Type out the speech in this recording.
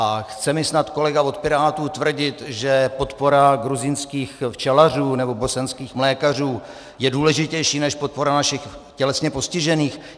A chce mi snad kolega od Pirátů tvrdit, že podpora gruzínských včelařů nebo bosenských mlékařů je důležitější než podpora našich tělesně postižených?